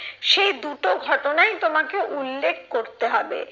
সেই দুটো ঘটনাই তোমাকে উল্লেখ করতে হবে।